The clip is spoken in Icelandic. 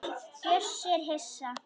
Bjössi er hissa.